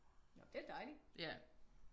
Nå det er dejligt